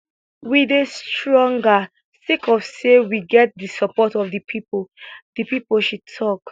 we dey stronger sake of say we get di support of di pipo di pipo she tok